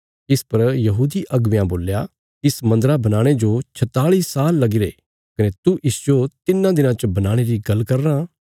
इस पर यहूदी अगुवेयां बोल्या इस मन्दरा बनाणे जो छताल़ि साल लगीरे कने तू इसजो तिन्नां दिनां च बनाणे री गल्ल करी रां